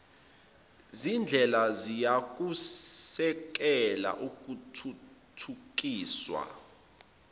zindlela ziyakusekela ukuthuthukiswa